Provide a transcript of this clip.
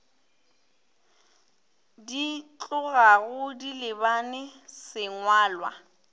di tlogago di lebane sengwalwa